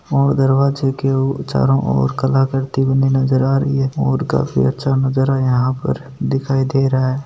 और दरवाजे के चारोओर कलाकर्ती बनी नज़र आ रही है और काफी अच्छा नज़ारा यहाँ पर दिखाई दे रहा है।